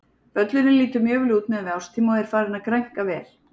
Völlurinn lítur mjög vel út miðað við árstíma og er farinn að grænka vel.